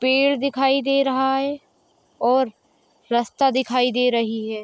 पेड़ दिखाई दे रहा है और रस्ता दिखाई दे रही है।